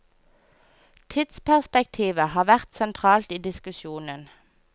Tidsperspektivet har vært sentralt i diskusjonen.